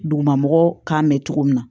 Duguma mɔgɔ kan mɛ cogo min na